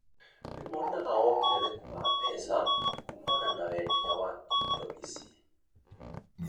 nĩ monaga wongerereku wa mbeca kũmana na wendia wa indi ici,